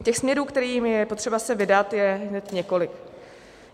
Těch směrů, kterými je potřeba se vydat, je hned několik.